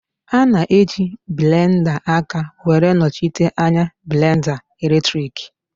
A na-eji blenda aka were nọchite anya blenda eletriki